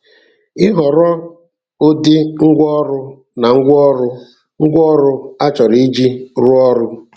Ịhọrọ ụdị ngwa ọrụ na ngwaọrụ ngwaọrụ achọrọ iji rụọ ọrụ.